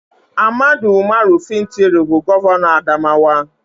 AHMADU UMARU FINTIRI bụ Gọvanọ Adamawa